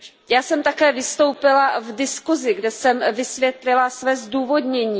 Já jsem také vystoupila v diskusi, kde jsem vysvětlila své zdůvodnění.